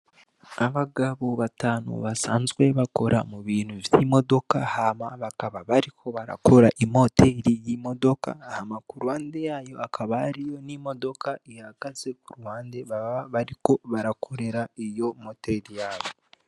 Abagabo batanu basanzwe bakora mu bintu vyimodoka hama bakaba bariko barakora imoteri yimodoka hama kuruhande yayo hakaba hariyo n'imodoka ihagaze kuruhande baba bariko barakorera iyo moteri yayo.